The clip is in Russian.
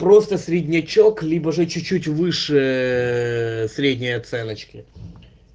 просто среднячок либо же чуть-чуть выше средней оценочки